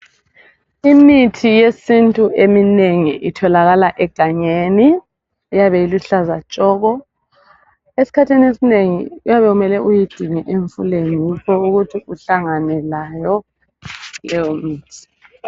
Imithi yesintu eminengi itholakala egangeni, iyabe iluhlaza tshoko. Esikhathini esinengi kuyabe kumele uyidinge emfuleni yikho ukuthi uhlangane layo leyomithi